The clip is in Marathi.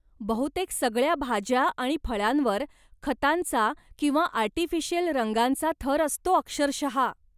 बहुतेक सगळ्या भाज्या आणि फळांवर खतांचा किंवा आर्टिफिशियल रंगांचा थर असतो अक्षरशः.